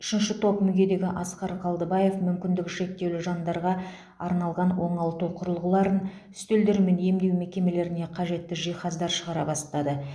үшінші топ мүгедегі асқар қалдыбаев мүмкіндігі шектеулі жандарға арналған оңалту құрылғыларын үстелдер мен емдеу мекемелеріне қажетті жиһаздар шығара бастады